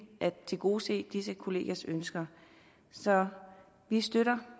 at tilgodese disse kollegiers ønsker så vi støtter